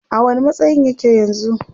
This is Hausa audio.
a wani matsayin yake yanzun?